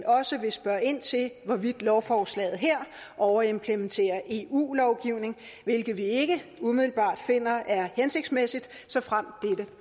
også vil spørge ind til hvorvidt lovforslaget her overimplementerer eu lovgivning hvilket vi ikke umiddelbart finder er hensigtsmæssigt såfremt dette